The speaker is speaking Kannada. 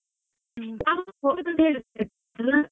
ಎಂತ?